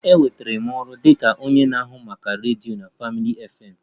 Enwetara m ọrụ dị ka onye na-ahụ maka redio na Family FM